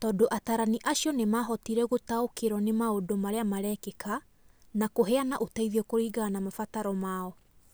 tondũ atarani acio nĩ mahotire gũtaũkĩrũo nĩ maũndũ marĩa marekĩka na kũheana ũteithio kũringana na mabataro mao.